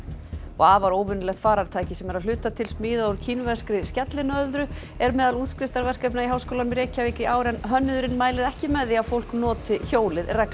afar óvenjulegt farartæki sem er að hluta til smíðað úr kínverskri skellinöðru er meðal útskriftarverkefna í Háskólanum í Reykjavík í ár en hönnuðurinn mælir ekki með því að fólk noti hjólið reglulega